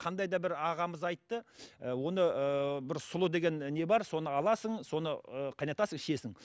қандай да бір ағамыз айтты оны ыыы бір сұлы деген не бар соны аласың соны ыыы қайнатасың ішесің